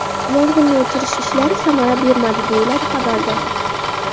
Yong‘inni o‘chirish ishlari samara bermadi”, deyiladi xabarda.